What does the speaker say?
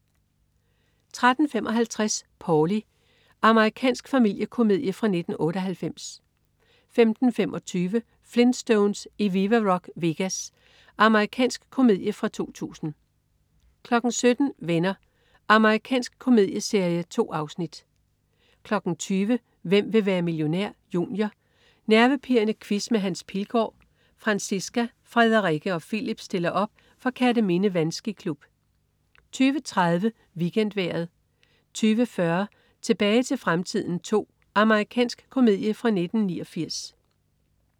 13.55 Paulie. Amerikansk familiekomedie fra 1998 15.25 Flintstones i Viva Rock Vegas. Amerikansk komedie fra 2000 17.00 Venner. Amerikansk komedieserie. 2 afsnit 20.00 Hvem vil være millionær? Junior. Nervepirrende quiz med Hans Pilgaard. Franciska, Frederikke og Filip stiller op for Kerteminde Vandskiklub 20.30 WeekendVejret 20.40 Tilbage til fremtiden II. Amerikansk komedie fra 1989